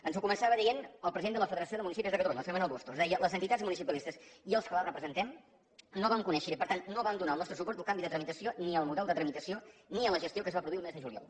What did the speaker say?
ens ho començava dient el president de la federació de municipis de catalunya el senyor manuel bustos deia les entitats municipalistes i els que les representem no vam conèixer i per tant no vam donar el nostre suport al canvi de tramitació ni al model de tramitació ni a la gestió que es va produir el mes de juliol